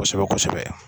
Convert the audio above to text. Kosɛbɛ kosɛbɛ